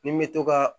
Ni n bɛ to ka